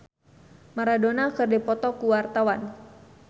Dira Sugandi jeung Maradona keur dipoto ku wartawan